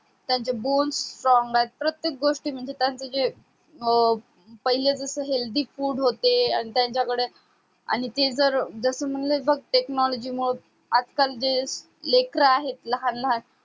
त्यांचे born strong आहे प्रत्येक गोष्ठी म्हणजे त्यांचे जे अं पहिले जस healthy food होते आणी त्यांच्याकडं आणि ते जर जस म्हणलं बग technology मुळ आज काल जे लेकरं आहे लहान लहान